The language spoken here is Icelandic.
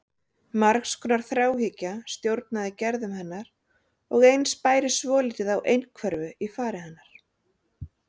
Margs konar þráhyggja stjórnaði gerðum hennar og eins bæri svolítið á einhverfu í fari hennar.